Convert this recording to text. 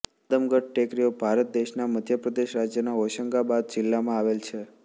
આદમગઢ ટેકરીઓ ભારત દેશના મધ્ય પ્રદેશ રાજ્યના હોશંગાબાદ જિલ્લામાં આવેલ છે